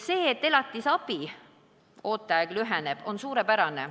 See, et elatisabi ooteaeg lüheneb, on suurepärane.